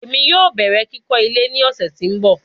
Emi yoo bẹrẹ kikọ ile ni ọsẹ ti n bọ